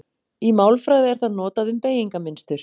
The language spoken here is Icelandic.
Í málfræði er það notað um beygingarmynstur.